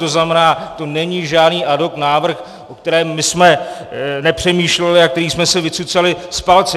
To znamená, to není žádný ad hoc návrh, o kterém my jsme nepřemýšleli a který jsme si vycucali z palce.